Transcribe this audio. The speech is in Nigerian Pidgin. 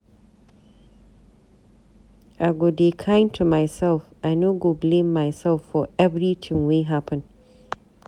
I go dey kind to myself, I no go blame myself for everytin wey happen.